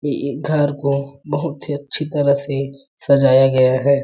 ये घर को बहुत ही अच्छी तरह से सजाया गया है।